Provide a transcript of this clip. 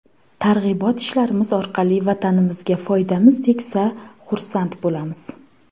Targ‘ibot ishlarimiz orqali Vatanimizga foydamiz tegsa xursand bo‘lamiz.